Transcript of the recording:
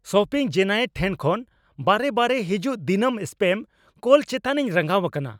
Shopping giant ᱴᱷᱮᱱ ᱠᱷᱚᱱ ᱵᱟᱨᱮᱼᱵᱟᱨᱮ ᱦᱤᱡᱩᱜ ᱫᱤᱱᱟᱹᱢ ᱥᱯᱮᱢ ᱠᱚᱞ ᱪᱮᱛᱟᱱᱤᱧ ᱨᱟᱸᱜᱟᱣ ᱟᱠᱟᱱᱟ ᱾